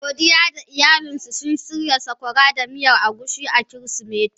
Godiya da iyalin suna shirya saƙwara da miyar agushi a Kirsimeti.